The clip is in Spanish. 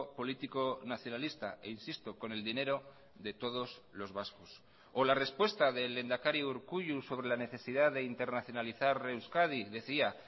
político nacionalista e insisto con el dinero de todos los vascos o la respuesta del lehendakari urkullu sobre la necesidad de internacionalizar euskadi decía